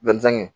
Denmisɛn